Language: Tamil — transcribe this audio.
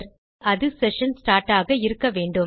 ஆகவே அது செஷன் ஸ்டார்ட் ஆக இருக்க வேண்டும்